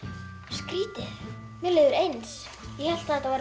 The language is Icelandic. skrítið mér líður eins ég hélt þetta væri